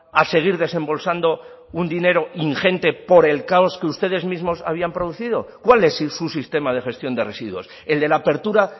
a seguir desembolsando un dinero ingente por el caos que ustedes mismos habrían producido cuál es su sistema de gestión de residuos el de la apertura